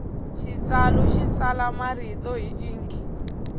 xitsalu xi tsala marito hi inki